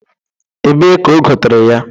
Ebee ka o gotere ya?